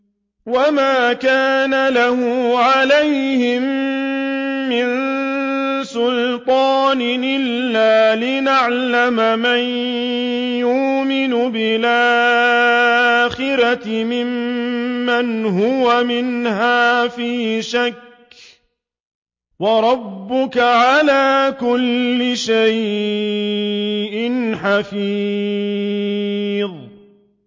وَمَا كَانَ لَهُ عَلَيْهِم مِّن سُلْطَانٍ إِلَّا لِنَعْلَمَ مَن يُؤْمِنُ بِالْآخِرَةِ مِمَّنْ هُوَ مِنْهَا فِي شَكٍّ ۗ وَرَبُّكَ عَلَىٰ كُلِّ شَيْءٍ حَفِيظٌ